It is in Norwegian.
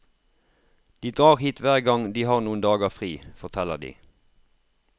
De drar hit hver gang de har noen dager fri, forteller de.